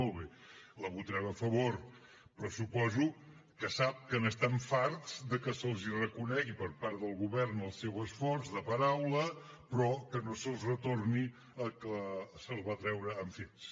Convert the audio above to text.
molt bé la votarem a favor però suposo que sap que estan farts de que se’ls reconegui per part del govern el seu esforç de paraula però que no se’ls retorni el que se’ls va treure amb fets